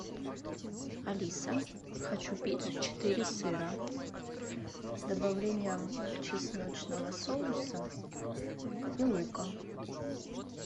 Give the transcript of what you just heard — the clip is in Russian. алиса хочу пиццу четыре сыра с добавлением чесночного соуса и лука